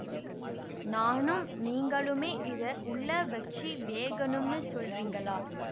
நானும் நீங்களுமே இத உள்ள வச்சி வேகணும்னு சொல்றிங்களா